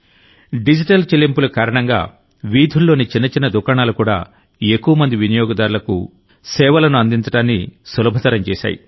digital చెల్లింపుల కారణంగా వీధుల్లోని చిన్నచిన్న దుకాణాలు కూడా ఎక్కువ మంది వినియోగదారులకు సేవలను అందించడాన్ని సులభతరం చేశాయి